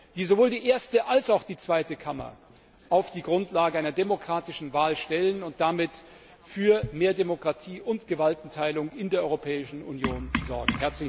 die sowohl die erste als auch die zweite Kammer auf die Grundlage einer demokratischen Wahl stellen und damit für mehr Demokratie und Gewaltenteilung in der Europäischen Union sorgen.